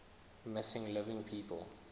missing living people